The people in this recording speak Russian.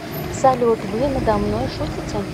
салют вы надо мной шутите